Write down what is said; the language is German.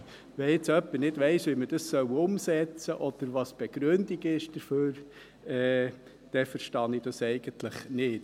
Wenn jetzt jemand nicht weiss, wie man dies umsetzen soll oder was die Begründung dafür ist, dann verstehe ich das eigentlich nicht.